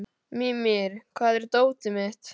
Mímir, hvar er dótið mitt?